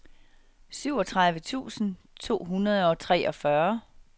syvogtredive tusind to hundrede og treogfyrre